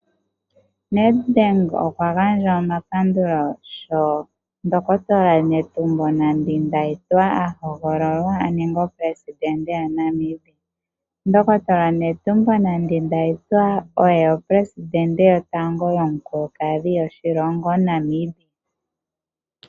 Nedbank okwa gandja omapandulo sho omundohotola Netumbo Nande- Ndaitwah apewa oshipundi omuleli goshilongo shaNamibia. Ye oye omuleli gwotango omukulukadhi goshilongo shaNamibia.